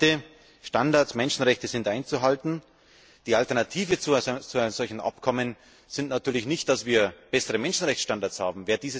Zweitens sind Standardmenschenrechte einzuhalten. Die Alternative zu einem solchen Abkommen ist natürlich nicht, dass wir bessere Menschenrechtsstandards haben.